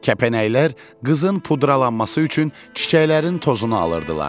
Kəpənəklər qızın pudralanması üçün çiçəklərin tozunu alırdılar.